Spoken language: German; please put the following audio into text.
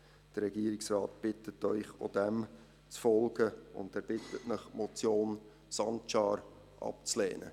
Der Regierungsrat bittet Sie, auch dem zu folgen, und er bitte Sie, die Motion Sancar abzulehnen.